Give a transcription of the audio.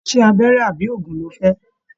Ṣe abẹrẹ àbí òògùn ló fẹ?